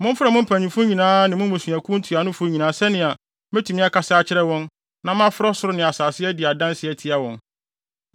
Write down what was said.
Momfrɛ mo mpanyimfo nyinaa ne mo mmusuakuw ntuanofo nyinaa sɛnea metumi akasa akyerɛ wɔn na mafrɛ ɔsoro ne asase de adi adanse atia wɔn.